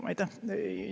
Aitäh!